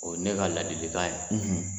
O ye ne ka ladilikan ye,